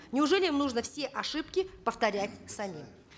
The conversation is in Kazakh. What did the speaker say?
неужели нужно все ошибки повторять самим